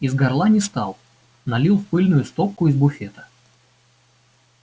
из горла не стал налил в пыльную стопку из буфета